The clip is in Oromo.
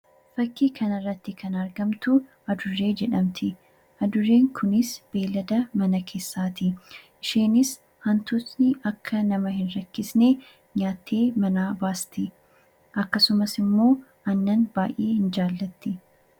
Fakkii kanarratti kan argamtu adurree jedhamti. Adurreen kunis beeylada mana keessaati. Isheenis hantuutni akka nama hin rakkifne nyaattee manaa baasti. Akkasumas immoo aannan baay'ee ni jaallatti.